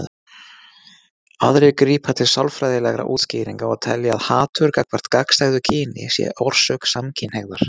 Aðrir grípa til sálfræðilegra útskýringa og telja að hatur gagnvart gagnstæðu kyni sé orsök samkynhneigðar.